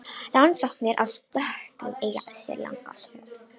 Rannsóknir á stökklum eiga sér langa sögu.